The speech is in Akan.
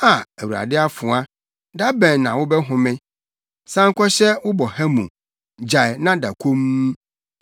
“ ‘Aa, Awurade afoa,’ ‘da bɛn na wobɛhome? San kɔhyɛ wo boha mu; gyae na da komm.’